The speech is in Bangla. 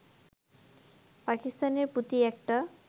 পাকিস্তানের প্রতি একটা